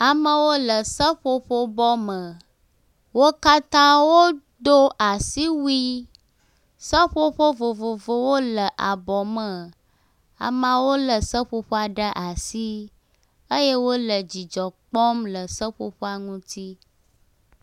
Amewo le seƒoƒobɔ me, wo katã wodo asiwui, seƒoƒo vovovowo le abɔ me, amewo le seƒoƒoawo ɖe asi eye wole dzidzɔ kpɔm le seƒoƒoa ŋuti